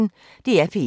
DR P1